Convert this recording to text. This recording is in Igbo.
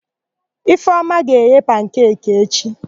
Ifeọma ga-eghe pankeki echi.